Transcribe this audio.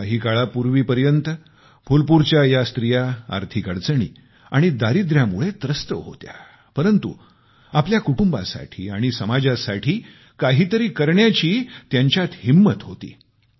काही काळापूर्वी पर्यंत फुलपूरच्या या स्त्रिया आर्थिक अडचणी आणि दारिद्रयामुळे त्रस्त होत्या परंतु आपल्या कुटुंबासाठी आणि समाजासाठी काहीतरी करण्याची त्यांचात हिंमत होती